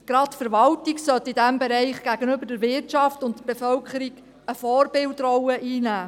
Gerade die Verwaltung sollte in diesem Bereich gegenüber der Wirtschaft und der Bevölkerung eine Vorbildrolle einnehmen.